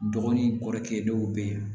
Dɔgɔnin kɔrɔkɛ dɔw bɛ yen